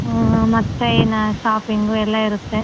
ಹ್ಮ್ ಮತ್ತೆ ಇನ್ನ shopping ಎಲ್ಲಾ ಇರುತ್ತೆ.